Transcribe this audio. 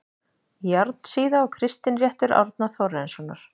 Járnsíða og Kristinréttur Árna Þórarinssonar